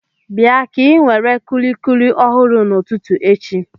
Bịa ka inwere kùlikùli ọhụrụ n'ụtụtụ echi